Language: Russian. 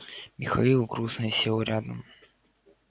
михаил грузно сел рядом